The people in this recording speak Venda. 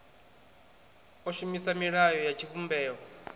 o shumisa milayo ya tshivhumbeo